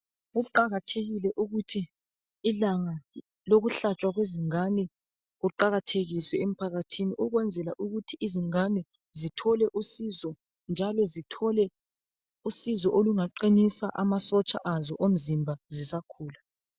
Kuqakathekile ukuthi ilanga lokuhlatshwa kwezingane kuqakathekiswe emphakathini ukwenzela ukuthi izingane zithole usizo njalo zithole usizo olungaqinisa amasotsha azo omzimba zisakhula.